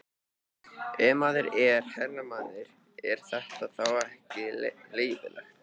Ef maður er herramaður, er þetta þá ekki leyfilegt?